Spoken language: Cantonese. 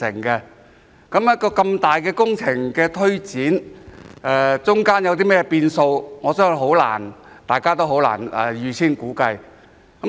一項如此龐大的工程的推展，過程中會有甚麼變數，我相信大家很難預先估計。